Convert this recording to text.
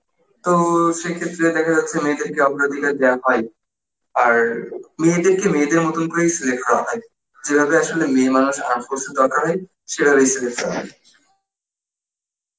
তো সেই ক্ষেত্রে দেখা যাচ্ছে মেয়েদের কে দেওয়া হয় আর মায়াদের কে মেয়েদের মতন করেই select করা হয় যেভাবে আসলে মেয়ে মানুষ দরকার হয় সেভাবেই select করা হয়